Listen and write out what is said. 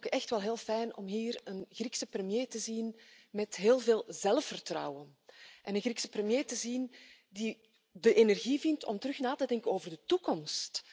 Maar ik vind het ook echt wel heel fijn om hier een Griekse premier te zien met heel veel zelfvertrouwen, een Griekse premier die de energie vindt om weer na te denken over de toekomst.